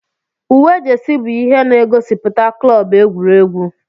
Uwe jesi bụ ihe na-gosiputa klọb egwuregwu.